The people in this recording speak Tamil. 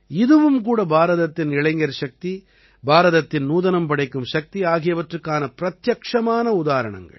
இதுவும் கூட பாரதத்தின் இளைஞர் சக்தி பாரதத்தின் நூதனம் படைக்கும் சக்தி ஆகியவற்றுக்கான பிரத்யட்சமான உதாரணங்கள்